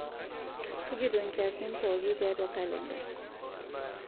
tujuto nkiasin pooki tiatua kalenda